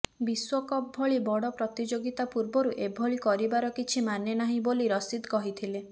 ବିଶ୍ବକପ୍ ଭଳି ବଡ଼ ପ୍ରତିଯୋଗିତା ପୂର୍ବରୁ ଏଭଳି କରିବାର କିଛି ମାନେ ନାହିଁ ବୋଲି ରସିଦ୍ କହିଥିଲେ